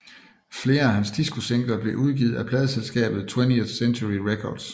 Flere af hans discosingler blev udgivet af pladeselskabet 20th Century Records